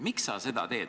Miks sa seda teed?